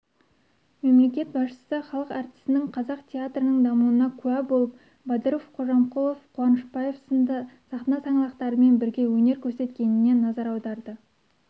мемлекет басшысы халық әртісінің қазақ театрының дамуына куә болып бадыров қожамқұлов қуанышбаев сынды сахна саңлақтарымен бірге өнер көрсеткеніне назар аударды